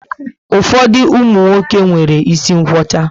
Ụfọdụ umunwoke nwéré isi nkwocha